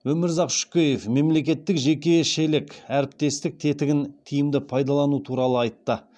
өмірзақ шөкеев мемлекеттік жекешелік әріптестік тетігін тиімді пайдалану туралы айтты